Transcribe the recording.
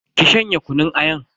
Ki shanye kunun ayan.